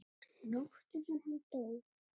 Nóttina sem hann dó?